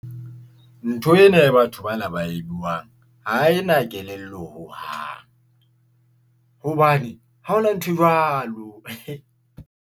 Ntho ena e batho bana ba e buang ha ena kelello hohang, hobane ha hona nthwe jwalo.